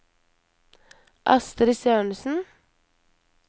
Astrid Sørensen